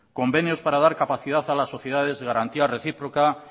convenios para dar capacidad a las sociedades de garantía recíproca